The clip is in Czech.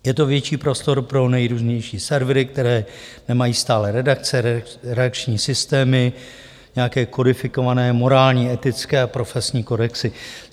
Je to větší prostor pro nejrůznější servery, které nemají stálé redakce, reakční systémy, nějaké kodifikované morální, etické a profesní kodexy.